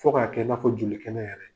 Fo k'a kɛ i n'a fɔ joli kɛnɛ yɛrɛ.